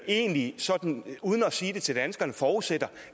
egentlig sådan uden at sige det til danskerne forudsætter